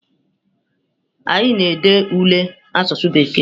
Anyi a na-ede ule asụsụ bekee echi?